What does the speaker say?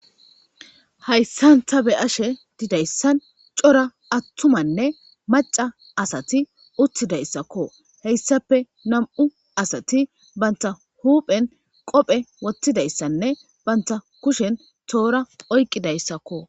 Haysan ta be'ashe didaysan atumanne maca asati itidausako , haysappe nam'u asati banta huphen qobe wothidaysanne banta kushen tora oykidaysako